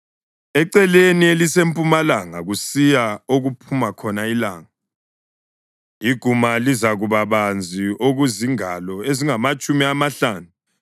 Eceleni elisempumalanga, kusiya okuphuma khona ilanga, iguma lizakuba banzi okuzingalo ezingamatshumi amahlanu.